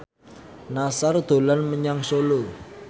Nassar dolan menyang Solo